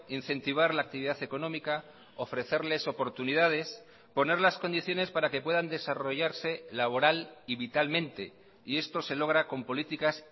incentivar la actividad económica ofrecerles oportunidades poner las condiciones para que puedan desarrollarse laboral y vitalmente y esto se logra con políticas